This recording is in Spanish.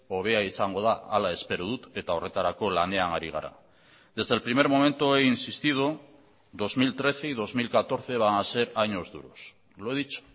hobea izango da hala espero dut eta horretarako lanean ari gara desde el primer momento he insistido dos mil trece y dos mil catorce van a ser años duros lo he dicho